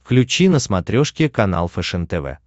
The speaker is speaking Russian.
включи на смотрешке канал фэшен тв